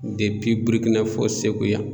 Burukina fɔ Segu yan.